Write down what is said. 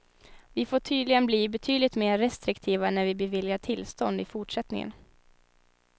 Vi får tydligen bli betydligt mer restriktiva när vi beviljar tillstånd i fortsättningen.